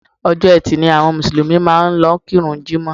Ọjọ́ etì ni àwọn Mùsùlùmí máa ń lọ kí ìrun jimọ